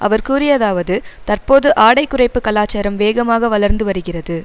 அவர் கூறியதாவது தற்போது ஆடை குறைப்பு கலாசாரம் வேகமாக வளர்ந்து வருகிறது